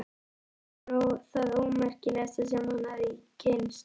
Hún var það ómerkilegasta sem hann hafði kynnst.